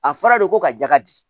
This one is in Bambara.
A fɔra de ko ka ja di